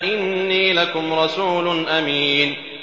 إِنِّي لَكُمْ رَسُولٌ أَمِينٌ